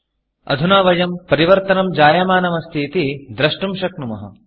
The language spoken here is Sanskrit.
अधुना वयं परिवर्तनं जायमानम् अस्ति इति द्रष्टुं शक्नुमः